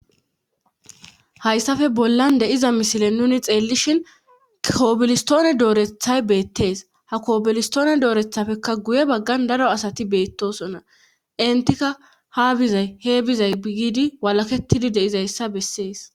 Hayssafe bollan de7iza misile nuunu xeellishin kobilestoone doorethay nuus beetees ha kobilesttoone doorethafekka guye baggan daro asa beettosona enttika haa bizay he bizay walakwttidi de7izayssa bessees.